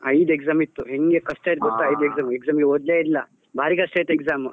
ಐದು exam ಇತ್ತು ಹೆಂಗೆ ಕಷ್ಟ ಐದ್ exam . exam ಗೆ ಓ ದ್ಲೇ ಇಲ್ಲ ಬಾರಿ ಕಷ್ಟ ಇತ್ತು exam .